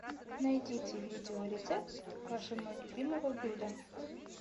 найдите видео рецепт вашего любимого блюда